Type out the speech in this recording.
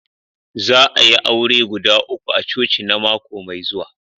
Za a'yi aure guda uku a coci na mako mai zuwa.